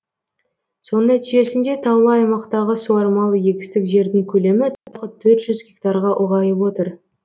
соның нәтижесінде таулы аймақтағы суармалы егістік жердің көлемі тағы төрт жүз гектарға ұлғайып отыр